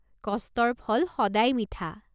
কষ্টৰ ফল সদায় মিঠা।